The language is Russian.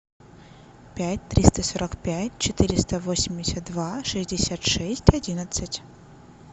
пять триста сорок пять четыреста восемьдесят два шестьдесят шесть одиннадцать